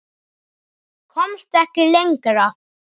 Komst ekki lengra.